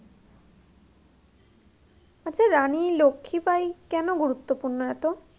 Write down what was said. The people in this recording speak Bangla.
আচ্ছা রানী লক্ষি বাই কেনো গুরুত্বপূর্ণ এতো?